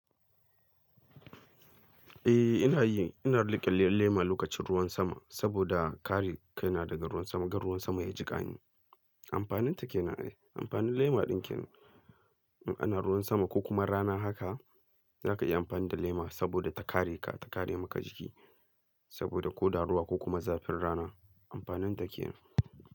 Eh ina yi, ina riƙe lema lokacin ruwan sama saboda kare kai na daga ruwan sama, kar ruwan sama ya jika ni. Amfanin ta kenan ne, amfanin lema din kenan in ana ruwan sama ko kuma rana haka zaka iya amfani da lema saboda ta kare ka, ta kare maka jiki saboda ko da ruwa ko kuma zafin rana amfanin ta kenan.